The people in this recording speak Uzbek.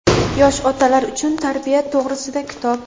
Yosh otalar uchun tarbiya to‘g‘risida kitob.